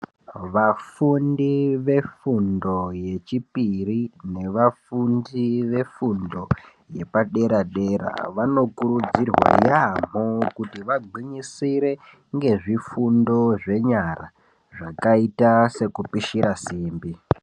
Vafundi vefundo yechipiri nevafundi vefundo yepadera-dera vanokurudzirwa yaamho kuti vagwinyisire ngezvifundo zvenyara, zvakaita sekupishira simbi.